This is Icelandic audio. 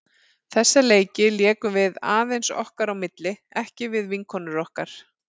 Þessa leiki lékum við aðeins okkar á milli, ekki við vinkonur okkar.